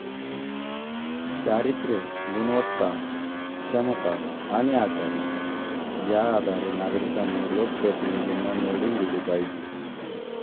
चारित्र्य, गुणवत्ता, क्षमता आणि आचरण या आधारे नागरिकांनी लोकप्रतिनिधींना निवडून दिले पाहिजे.